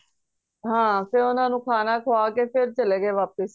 ਹਾਂ ਫੇਰ ਉਹਨਾਂ ਨੂੰ ਖਾਣਾ ਖੁਆ ਕੇ ਫੇਰ ਚਲੇ ਗਏ ਵਾਪਿਸ